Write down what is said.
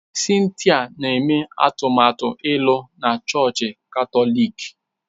Cynthia na-eme atụmatụ ịlụ na chọọchị Katọlik.